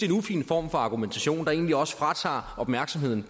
en ufin form for argumentation der egentlig også fratager opmærksomheden